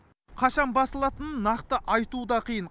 қашан басылатынын нақты айту да қиын